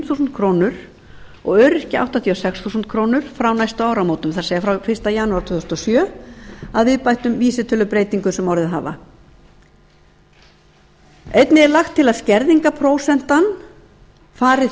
þúsund krónur og öryrkja áttatíu og sex þúsund krónur frá næstu áramótum það er frá fyrsta janúar tvö þúsund og sjö að viðbættum vísitölubreytingum sem orðið hafa einnig er lagt til að skerðingarprósentan fari